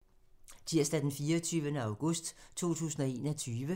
Tirsdag d. 24. august 2021